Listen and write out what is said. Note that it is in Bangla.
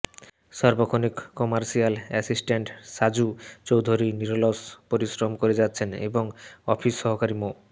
সার্বক্ষণিক কমার্শিয়াল অ্যাসিস্টেন্ট সাজু চৌধুরী নিরলস পরিশ্রম করে যাচ্ছেন এবং অফিস সহকারী মো